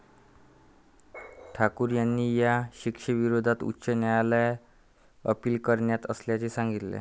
ठाकूर यांनी या शिक्षेविरोधात उच्च न्यायालयात अपील करणार असल्याचे सांगितले आहे.